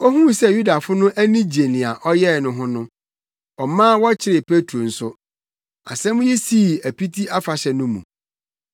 Ohuu sɛ Yudafo no ani gye nea ɔyɛe no ho no, ɔmaa wɔkɔkyeree Petro nso. Asɛm yi sii Apiti Afahyɛ no mu.